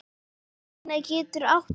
Patína getur átt við